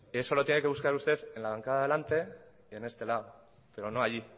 eso lo tiene que buscar usted en la bancada de delante y en este lado pero no allí